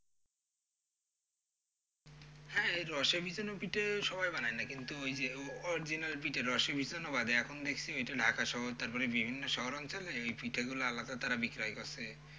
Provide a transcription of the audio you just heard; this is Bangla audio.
হ্যাঁ এই রসে ভিজানো পিঠে সবাই বানায় না কিন্তু ওই যে original পিঠে রসে ভিজানো বাদে এখন দেখছি ওইটা ঢাকা শহর তারপরে বিভিন্ন শহর অঞ্চলে ওই পিঠে গুলো আলাদা তারা বিক্রয় করছে।